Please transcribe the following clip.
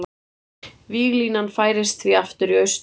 Víglínan færist því aftur í austurátt